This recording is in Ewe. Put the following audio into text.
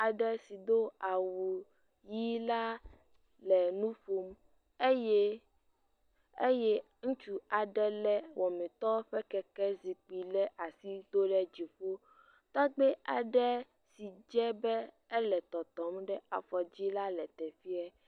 Aɖe si do awu ʋi la le nu ƒom eye eye ŋutsu aɖe le wɔmetɔ ƒe kekezikpui ɖe asi do ɖe dziƒo. Tɔgbui aɖe si dze be ele tɔtɔm ɖe afɔ dzi la le teƒea.